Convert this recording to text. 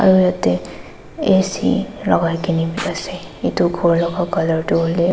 aro yate A_C lakaikae na biase edu khor laka colour tu hoilae.